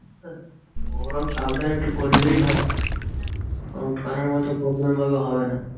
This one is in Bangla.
গরম সাবধানে একটু করলেই হয় মত করলে ওরকমভাবে হবে না।